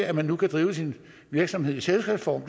at man nu kan drive sin virksomhed i selskabsform